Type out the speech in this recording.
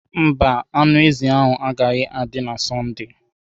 Mba, anụ ezi agaghị adị na Sọnde.